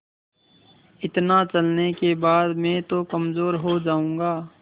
इतना चलने के बाद मैं तो कमज़ोर हो जाऊँगा